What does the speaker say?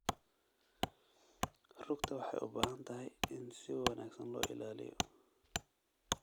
Rugta waxay u baahan tahay in si wanaagsan loo ilaaliyo.